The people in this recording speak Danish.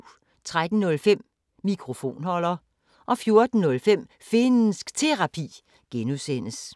13:05: Mikrofonholder 14:05: Finnsk Terapi (G)